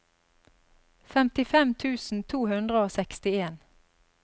femtifem tusen to hundre og sekstien